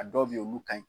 A dɔw bɛ yen olu ka ɲi